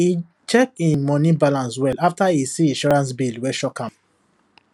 he check him money balance well after he see insurance bill wey shock am